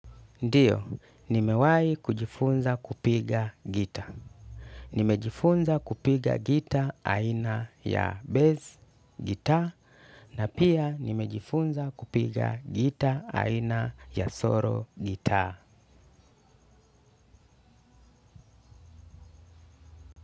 Ndiyo, nimewahi kujifunza kupiga gitaa. Nimejifunza kupiga gita aina ya bass, gitaa, na pia nimejifunza kupiga gita aina ya solo, gitaa.